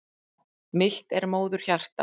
Milt er móðurhjarta.